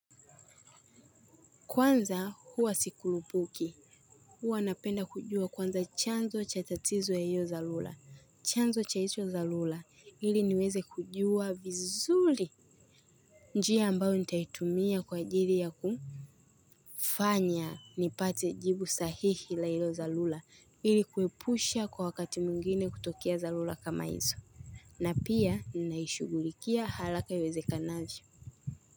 Kwanza huwa sikurupuki huwa napenda kujua kwanza chanzo cha tatizo ya hiyo dhalula chanzo cha icho dhalula hili niweze kujua vizuli njia ambayo nitaitumia kwa ajiri ya kufanya nipate jibu sahihi la hiyo dhalula hili kuepusha kwa wakati mwingine kutokia dhalula kama hizo na pia ninaishugulikia halaka iweze kanaji.